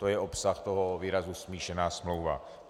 To je obsah toho výrazu smíšená smlouva.